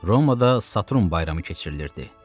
Romada Saturn bayramı keçirilirdi.